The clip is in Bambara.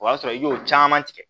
O y'a sɔrɔ i y'o caman tigɛ